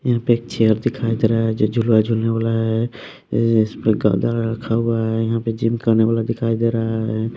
यहाँ पे एक चेयर दिखाई दे रहा है जो झुलवा झुलने वाला है इस पर गद्दा रखा हुआ है यहाँ पे जिम करने वाला दिखाई दे रहा है।